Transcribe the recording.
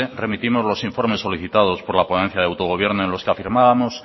remitimos los informes solicitados por la ponencia de autogobierno en los que afirmábamos